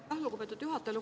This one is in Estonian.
Aitäh, lugupeetud juhataja!